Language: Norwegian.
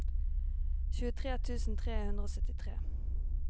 tjuetre tusen tre hundre og syttitre